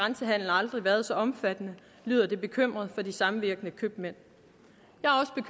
aldrig været så omfattende lyder det bekymret fra de samvirkende købmænd